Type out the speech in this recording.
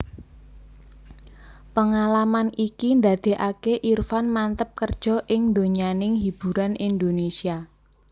Pengalaman iki ndadékaké Irfan manteb kerja ing donyaning hiburan Indonesia